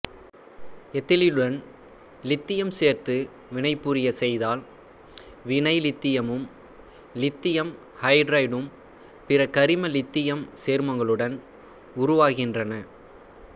எத்திலீனுடன் இலித்தியம் சேர்த்து வினைபுரியச் செய்தால் வினைல்லித்தியமும் இலித்தியம் ஐதரைடும் பிற கரிமலித்தியம் சேர்மங்களுடன் உருவாகின்றன